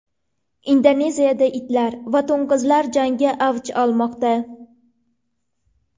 Indoneziyada itlar va to‘ng‘izlar jangi avj olmoqda.